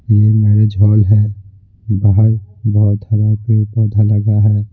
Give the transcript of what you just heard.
यह marriage hall है बाहर बहुत हरा पेड़ पौधा लगा है।